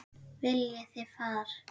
Viljið þið far?